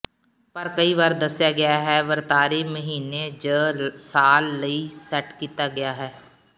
ਪਰ ਕਈ ਵਾਰ ਦੱਸਿਆ ਗਿਆ ਹੈ ਵਰਤਾਰੇ ਮਹੀਨੇ ਜ ਸਾਲ ਲਈ ਸੈੱਟ ਕੀਤਾ ਗਿਆ ਹੈ